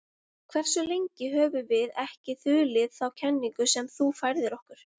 Hversu lengi höfum við ekki þulið þá kenningu sem þú færðir okkur?